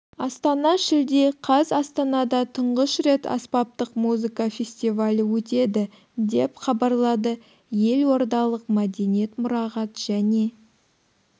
астана шілде қаз астанада тұңғыш рет аспаптық музыка фествиалі өтьеді деп хабарлады елордалық мәдениет мұрағат және